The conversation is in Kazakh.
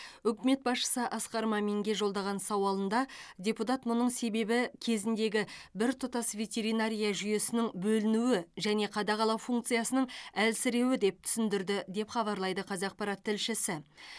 үкімет басшысы асқар маминге жолдаған сауалында депутат мұның себебі кезіндегі біртұтас ветеринария жүйесінің бөлінуі және қадағалау функциясының әлсіреуі деп түсіндірді деп хабарлайды қазақпарат тілшісі